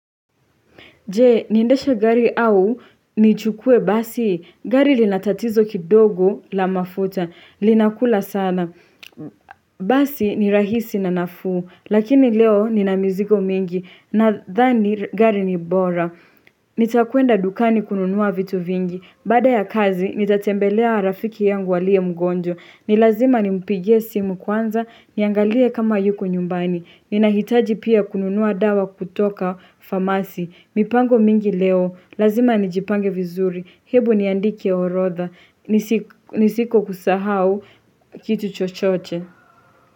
Je, niendeshe gari au nichukue basi. Gari lina tatizo kidogo la mafuta. Linakula sana. Basi ni rahisi na nafuu. Lakini leo nina mizigo mingi. Nadhani gari ni bora. Nitakwenda dukani kununua vitu vingi Baada ya kazi, nitatembelea rafiki yangu aliye mgonjwa ni lazima nimpigie simu kwanza, niangalie kama yuko nyumbani Ninahitaji pia kununua dawa kutoka famasi mipango mingi leo, lazima nijipange vizuri Hebu niandike horodha, nisiko kusahau kitu chochoche.